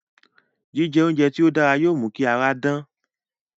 Jíjẹ oúnjẹ tí ó dára yóò mú kí ara dán